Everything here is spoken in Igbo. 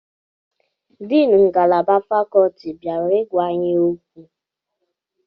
Deni ngalaba fakuti bịara igwa anyị okwu